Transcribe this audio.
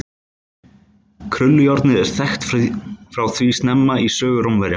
krullujárnið er þekkt frá því snemma í sögu rómverja